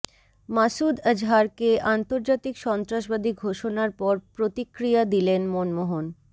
মাসুদ আজহারকে আন্তর্জাতিক সন্ত্রাসবাদী ঘোষণার পর প্রতিক্রিয়া দিলেন মনমোহন